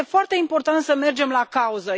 Este foarte important să mergem la cauză.